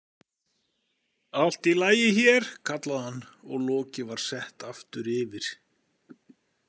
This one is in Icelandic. Allt í lagi hér, kallaði hann og lokið var sett aftur yfir.